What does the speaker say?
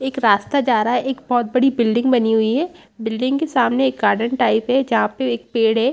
एक रास्ता जा रहा है एक बहुत बड़ी बिल्डिंग बनी हुई है बिल्डिंग के सामने एक गार्डन टाइप है जहाँं पे एक पेड़ है।